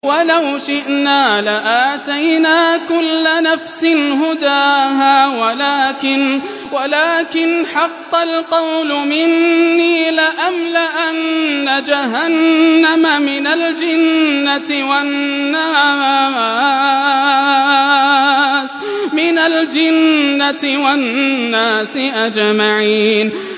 وَلَوْ شِئْنَا لَآتَيْنَا كُلَّ نَفْسٍ هُدَاهَا وَلَٰكِنْ حَقَّ الْقَوْلُ مِنِّي لَأَمْلَأَنَّ جَهَنَّمَ مِنَ الْجِنَّةِ وَالنَّاسِ أَجْمَعِينَ